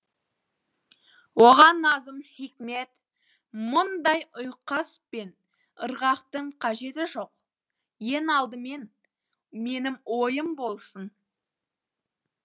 оған назым хикмет мұндай ұйқас пен ырғақтың қажеті жоқ ең алдымен менің ойым болсын